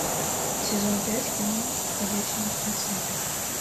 сезон пять кино ходячие мертвецы